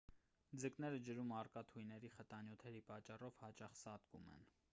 ձկները ջրում առկա թույների խտանյութերի պատճառով հաճախ սատկում են